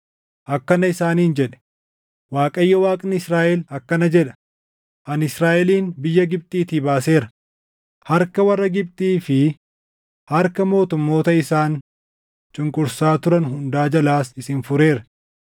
akkana isaaniin jedhe; “ Waaqayyo Waaqni Israaʼel akkana jedha: ‘Ani Israaʼelin biyya Gibxiitii baaseera; harka warra Gibxii fi harka mootummoota isaan cunqursaa turan hundaa jalaas isin fureera.’